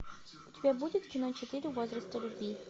у тебя будет кино четыре возраста любви